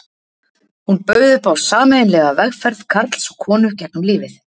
Hún bauð upp á sameiginlega vegferð karls og konu gegnum lífið.